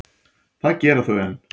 Það gera þau enn.